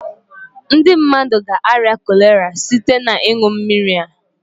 Ndị mmadụ ga arịa cholera site na ịṅụ mmiri a